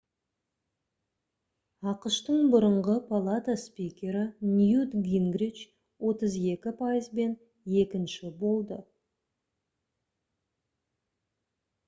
ақш-тың бұрынғы палата спикері ньют гингрич 32 пайызбен екінші болды